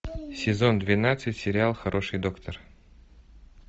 сезон двенадцать сериал хороший доктор